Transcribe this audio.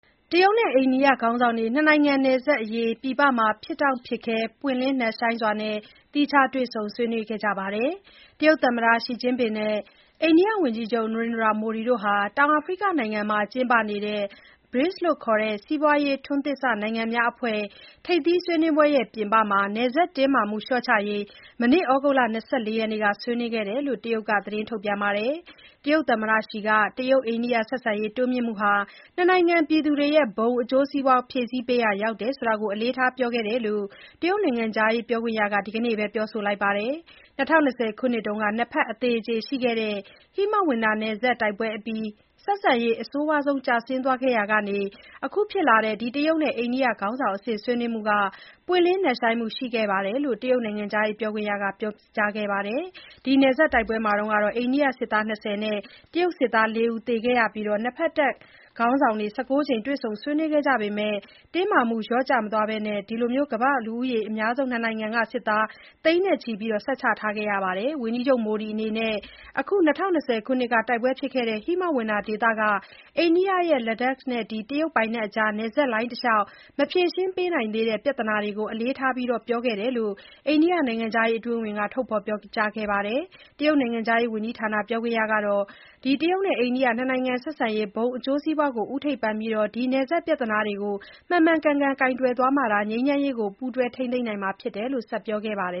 တရုတ်နဲ့ အိန္ဒိယခေါင်းဆောင်တွေ နှစ်နိုင်ငံ နယ်စပ်အရေး ပြည်ပမှာ ဖြစ်တောင့်ဖြစ်ခဲ ပွင့်လင်းနက်ရှိုင်းစွာ သီးခြား တွေ့ဆုံ ဆွေးနွေးခဲ့ကြပါတယ်။ တရုတ်သမ္မတ Xi Jinping နဲ့ အိန္ဒိယဝန်ကြီးချုပ် Narendra Modi တို့ဟာ တောင်အာဖရိကနိုင်ငံမှာကျင်းပနေတဲ့ BRICS ခေါ် စီးပွားရေးထွန်းသစ်စနိုင်ငံများအဖွဲ့ ထိပ်သီး ဆွေးနွေးပွဲပြင်ပမှာ နယ်စပ်တင်းမာမှုလျှော့ချရေး မနေ့ ဩဂုတ်လ ၂၄ ရက်နေ့က ဆွေးနွေးခဲ့တယ်လို့ တရုတ်နိုင်ငံက သတင်းထုတ်ပြန်ပါတယ်။ တရုတ် သမ္မတ Xi က တရုတ်-အိန္ဒိယဆက်ဆံရေး တိုးမြှင့်မှုဟာ နှစ်နိုင်ငံပြည်သူတွေရဲ့ ဘုံ အကျိုးစီးပွား ဖြည့်ဆည်းပေးရာရောက်တာကို အလေးထားပြောခဲ့တယ်လို့ တရုတ်နိုင်ငံခြားရေးပြောခွင့်ရက ဒီနေ့ပဲ ပြောလိုက်တာပါ။ ၂၀၂၀ ခုနှစ်တုံးက နှစ်ဖက်အသေအကျေရှိခဲ့တဲ့ ဟိမဝန္တာနယ်စပ်တိုက်ပွဲအပြီး ဆက်ဆံရေး အဆိုးဆုံး ကျဆင်းသွားခဲ့ရာကနေ အခုဖြစ်လာတဲ့ ဒီ တရုတ်နဲ့အိန္ဒိယခေါင်းဆောင်အဆင့် ဆွေးနွေးမှုဟာ ပွင့်ပွင့်နက်ရှိုင်းမှု ရှိခဲ့တယ်လို့လည်း တရုတ်နိုင်ငံခြားပြောခွင့်ရက ဆက်ပြောခဲ့ပါတယ်။ ဒီနယ်စပ်တိုက်ပွဲမှာ အိန္ဒိယစစ်သား ၂၀ နဲ့ တရုတ်စစ်သား ၄ ဦး သေခဲ့ရအပြီး၊ ၂ ဖက်တပ်ခေါင်းဆောင်တွေ ၁၉ ကြိမ် တွေ့ဆုံဆွေးနွေးခဲ့ကြပေမဲ့၊ တင်းမာနေမှုတွေ လျော့ကျမသွားဘဲ ဒီ ကမ္ဘာ့လူဦးရေအများဆုံး နှစ်နိုင်ငံက စစ်သား သိန်းချီနယ်စပ်မှာ ဆက်ချထားခဲ့ရပါတယ်။ ဝန်ကြီးချုပ် Modi အနေနဲ့ ဒီ ၂၀၂၀ ခုနှစ်က တိုက်ပွဲဖြစ်ခဲ့တဲ့ ဟိမဝန္တာဒေသက အိန္ဒိယရဲ့ Ladakh နဲ့ တရုတ်ပိုင်နက်အကြား နယ်စပ်လိုင်းတလျှောက် မဖြေရှင်းနိုင်သေးတဲ့ ပြဿနာတွေကို အလေးထား ပြောခဲ့တယ်လို့ အိန္ဒိယနိုင်ငံခြားရေးအတွင်းဝန် Vinay Kwatra က ထုတ်ပြောခဲ့ပါတယ်။ တရုတ်နိုင်ငံခြားရေးဝန်ကြီးဌာန ပြောခွင့်ရကလည်း နှစ်နိုင်ငံဆက်ဆံရေးဘုံအကျိုးစီးပွားကို ဦးထိပ်ပန်ပြီး ဒီနယ်စပ် ပြဿနာတွေကို မှန်မှန်ကန်ကန် ကိုင်တွယ်သွားမှသာ၊ ငြိမ်းချမ်းရေးကို ပူးတွဲထိန်းသိမ်းနိုင်မှာဖြစ်တယ်လို့ ဆက်ပြောခဲ့ပါသေ